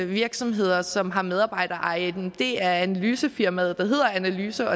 virksomheder som har medarbejdereje er analysefirmaet der hedder analyse